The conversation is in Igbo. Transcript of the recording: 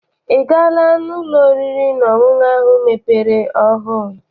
I gaala n'ụlọ oriri na ọṅụṅụ ahụ mepere ọhụụ?